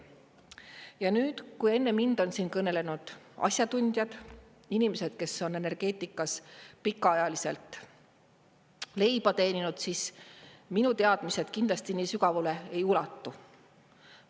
Ja nüüd, kui enne mind on siin kõnelenud asjatundjad, inimesed, kes on energeetikas pikaajaliselt leiba teeninud, siis minu teadmised kindlasti nii sügavale ei ulatu.